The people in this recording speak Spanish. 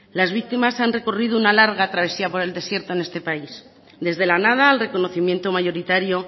las víctimas han recorrido una larga travesía por el desierto en este país desde la nada al reconocimiento mayoritario